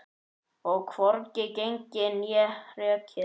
Og hvorki gengið né rekið.